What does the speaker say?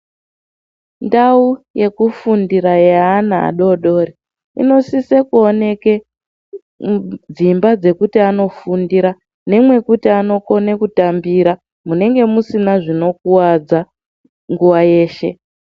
Ndau yekufundira yeana adodori inosise kuoneke dzimba dzekuti anofundira nemwekuti anokone kutambira munenge musina zvinokuwadza nguwa yeshe.